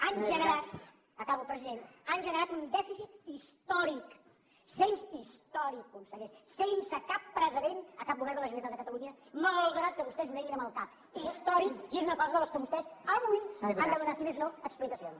han generat acabo president un dèficit històric històric conseller sense cap precedent a cap govern de la generalitat de catalunya malgrat que vostès ho neguin amb el cap històric i és una cosa de què vostès avui han de donar si més no explicacions